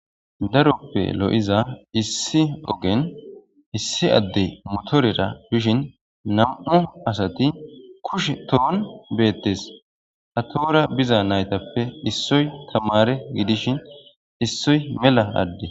daroppe lo7iza issi ogen issi addey motorera bishin nam7u asati kushe tohon beettes hatoora biza naytappe issoy tamare gidishin issoy mela adde